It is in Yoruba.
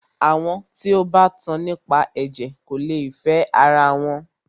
Àwọn tí o bá tan nípa ẹ̀jẹ̀ kò lè fẹ ara wọn.